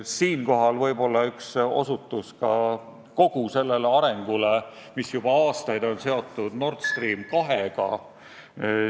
Siinkohal üks osutus ka kogu sellele arengule, mis juba aastaid on seotud Nord Stream 2-ga.